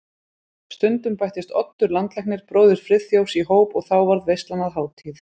Stundum bættist Oddur landlæknir, bróðir Friðþjófs, í hóp og þá varð veislan að hátíð.